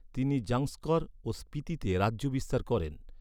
তিনি জাংস্কর ও স্পিতিতে রাজ্য বিস্তার করেন।